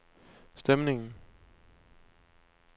stemningen